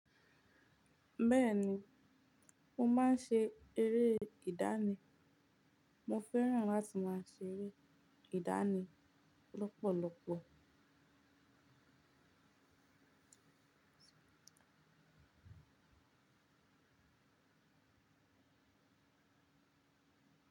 Bẹ́ẹ̀ni, mo máa ń ṣe eré ìdánì. Mo fẹ́ràn láti máa ṣe eré ìdánì lọ́pọ̀lọpọ̀.